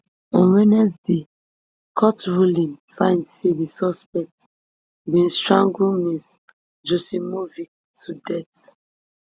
on wednesday court ruling find say di suspect bin strangle ms joksimovic to death